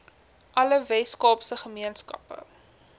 alle weskaapse gemeenskappe